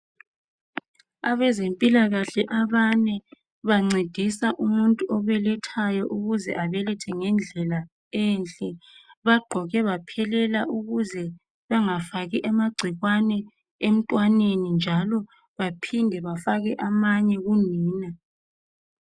abezempilakahle abane bancedisa umutnu obelethayo ukuze abelethe ngendlela enhle bagqoke baphelela ukuze bangafaki amagcikwane emntwaneni njalo baphinde bafake amanye kunina